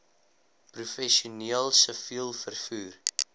professioneel siviel vervoer